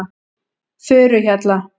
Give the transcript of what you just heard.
Furuhjalla